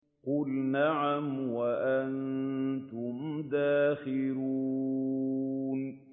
قُلْ نَعَمْ وَأَنتُمْ دَاخِرُونَ